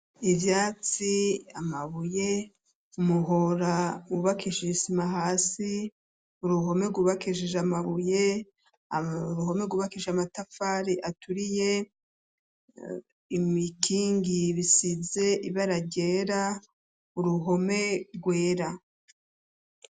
Ivyatsi, amabuye muhora wubakishisima hasi uruhome rgubakiej amabuye ruhome gubakije amatafari aturiye imikingi bisize ibaragera uruhome rwera.